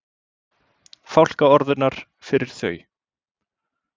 Fálkaorðunnar fyrir þau.